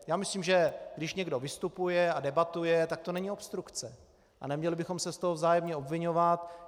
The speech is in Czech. Já myslím, že když někdo vystupuje a debatuje, tak to není obstrukce a neměli bychom se z toho vzájemně obviňovat.